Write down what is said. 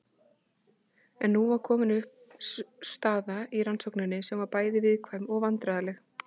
En nú var komin upp staða í rannsókninni sem var bæði viðkvæm og vandræðaleg.